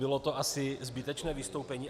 Bylo to asi zbytečné vystoupení.